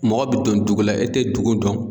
Mɔgɔ bɛ don dugu la e tɛ dugu dɔn.